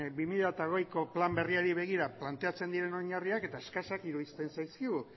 bi mila hogeiko plan berriari begira planteatzen diren oinarriak eta eskasak iruditzen zaizkigu